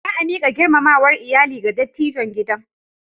Za a miƙa girmamawar iyali ga dattijon gidan.